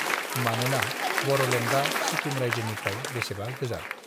मानोना बरलेण्डआ सिकिम राज्योनिफ्राय बेसेबा गोजान